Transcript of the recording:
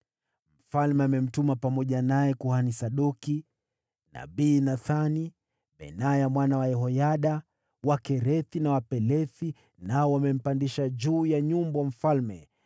Mfalme amemtuma pamoja naye kuhani Sadoki, nabii Nathani, Benaya mwana wa Yehoyada, Wakerethi na Wapelethi, nao wamempandisha juu ya nyumbu wa mfalme,